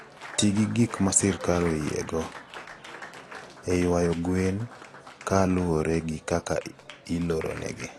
Ti gi gik ma sirkal oyiego (mag nego kute kod mag nego kute) e ywayo gwen ka luwore gi kaka ileronegi.